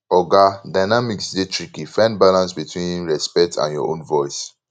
oga dynamics dey tricky find balance between respect and your own voice